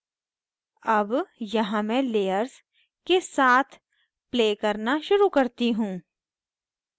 अब यहाँ मैं layers के साथ play करना शुरू करती हूँ